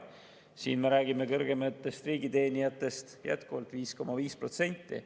Siin me räägime kõrgematest riigiteenijatest, kelle palk tõuseb 5,5%.